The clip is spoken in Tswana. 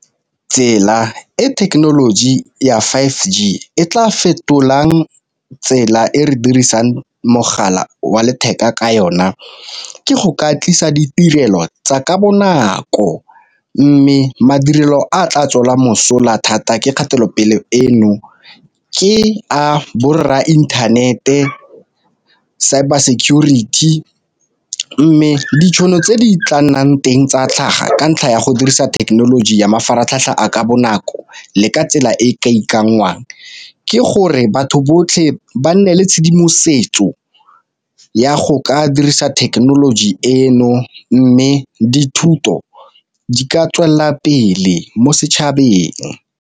Tsela e thekenoloji ya five G e tla fetolang tsela e re dirisang mogala wa letheka ka yona, ke go ka tlisa ditirelo tsa ka bonako. Mme madirelo a tla tswela mosola thata ke kgatelopele eno ke a borra inthanete, cyber security. Mme ditšhono tse di tla nnang teng tsa tlhaga ka ntlha ya go dirisa thekenoloji ya mafaratlhatlha a ka bonako le ka tsela e e ka ikanngwang ke gore batho botlhe ba nne le tshedimosetso ya go ka dirisa thekenoloji eno, mme dithuto di ka tswelela pele mo setšhabeng.